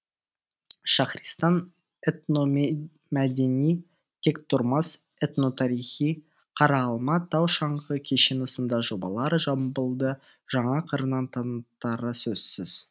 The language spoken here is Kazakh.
шахристан этномәдени тектұрмас этно тарихи қараалма тау шаңғы кешені сында жобалар жамбылды жаңа қырынан танытары сөзсіз